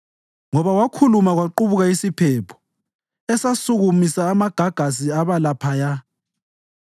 Ngoba wakhuluma kwaqubuka isiphepho esasukumisa amagagasi aba laphaya.